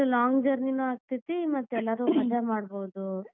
ಅದ್ long journey ನು ಆಗ್ತೇತಿ ಮತ್ ಎಲ್ಲಾರೂ ಮಜಾ ಮಾಡಬೋದು.